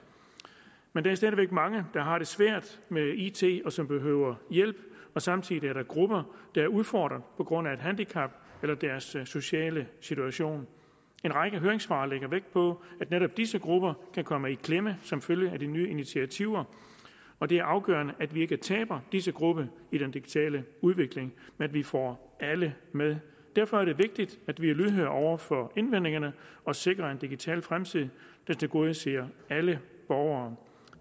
men der er stadig væk mange der har det svært med it og som behøver hjælp og samtidig er der grupper der er udfordret på grund af et handicap eller deres sociale situation en række høringssvar lægger vægt på at netop disse grupper kan komme i klemme som følge af de nye initiativer og det er afgørende at vi ikke taber disse grupper i den digitale udvikling men at vi får alle med derfor er det vigtigt at vi er lydhøre over for indvendingerne og sikrer en digital fremtid der tilgodeser alle borgere